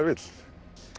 vill